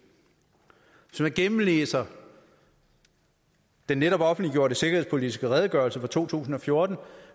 hvis man gennemlæser den netop offentliggjorte sikkerhedspolitiske redegørelse for to tusind og fjorten